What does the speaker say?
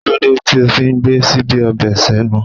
Kí ló dé tó fi ń gbé síbí ọbẹ̀ senu?